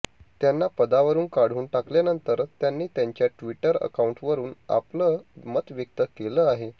त्यांना पदावरून काढून टाकल्यानंतर त्यांनी त्यांच्या ट्विटर अकांऊटवरून आपलं मत व्यक्त केलं आहे